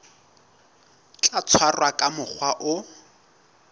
tla tshwarwa ka mokgwa o